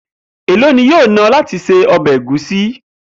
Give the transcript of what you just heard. Èló ni yóò ná o̩ láti se o̩bè̩ egusi?